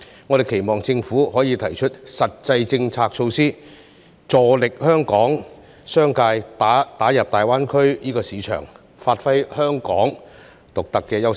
我們期望政府可以提出實際的政策和措施，助力香港工商界打入大灣區市場，發揮香港獨特的優勢。